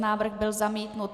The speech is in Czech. Návrh byl zamítnut.